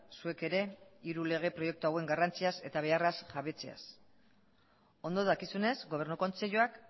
zuek ere hiru lege proiektu hauen garrantziaz eta beharraz jabetzeaz ondo dakizunez gobernu kontseiluak